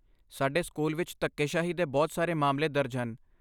ਸਾਡੇ ਸਕੂਲ ਵਿੱਚ ਧੱਕੇਸ਼ਾਹੀ ਦੇ ਬਹੁਤ ਸਾਰੇ ਮਾਮਲੇ ਦਰਜ ਹਨ।